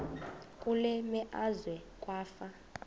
kule meazwe kwafa